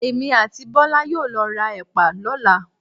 Èmi àti Bọ́lá yóò lọ ra Ẹ̀pà lọ́la.